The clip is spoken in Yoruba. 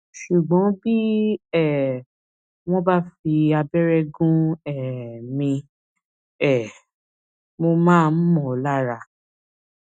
ṣùgbọn bí um wọn bá fi abẹrẹ gún um mi um mo máa ń mọ lára